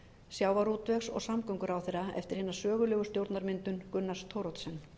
sjávarútvegs og samgönguráðherra eftir hina sögulegu stjórnarmyndun gunnars thoroddsens